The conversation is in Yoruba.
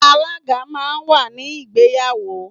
Alaga máa ń wà ní ìgbéyàwó.